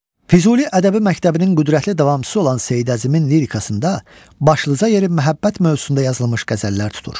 Füzuli ədəbi məktəbinin qüdrətli davamçısı olan Seyid Əzimin lirikasında başlıca yeri məhəbbət mövzusunda yazılmış qəzəllər tutur.